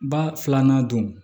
Ba filanan don